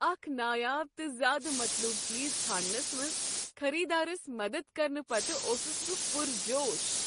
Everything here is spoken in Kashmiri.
اکھ نایاب تہٕ زیادٕ مطلوب چیز ژھانٛڑنس منٛز خریدارس مدد کرنہٕ پتہٕ اوسس بہٕ پرجوش۔